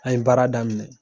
An ye baara daminɛ.